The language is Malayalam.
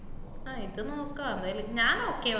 ആഹ് ഇത് നോക്കാ എന്തായാലും ഞാൻ okay പറഞ്ഞു